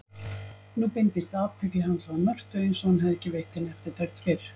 Nú beindist athygli hans að Mörtu einsog hann hefði ekki veitt henni eftirtekt fyrr.